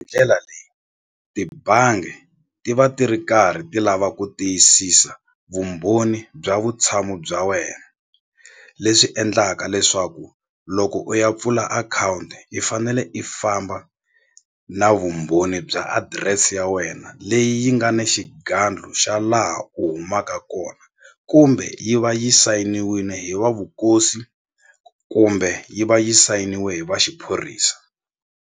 Ndlela leyi tibangi ti va ti ri karhi ti lava ku tiyisisa vumbhoni bya vutshamo bya wena leswi endlaka leswaku loko u ya pfula akhawunti i fanele i famba na vumbhoni bya adirese ya wena leyi yi nga ni xigandlo xa laha u humaka kona kumbe yi va yi sayiniwini hi wa vukosi kumbe yi va yi sayiniwe hi va xiphorisa.